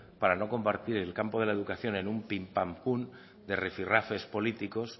para no convertir el campo de la educación en un pin pan pun de rifi rafes políticos